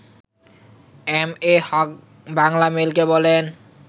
M A Haque বাংলামেইলকে বলেন